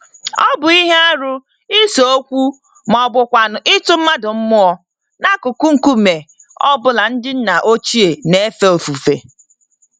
Ọ bụ ihe arụ ise-okwu mọbụkwanụ̀ ịtụ mmadụ mmụọ, n'akụkụ nkume ọ bụla ndị nna ochie n'éfè ofufe.